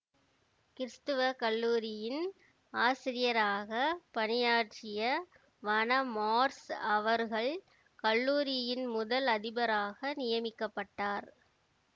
கிறிஸ்தவ கல்லூரியின் ஆசிரியராக பணியாற்றிய வண மார்ஷ் அவர்கள் கல்லூரியின் முதல் அதிபராக நியமிக்க பட்டார்